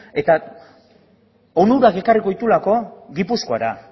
eta onurak ekarri dituelako gipuzkoara